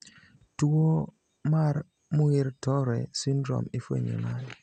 Tuo mar Muir Torre syndrome ifwenyo nade?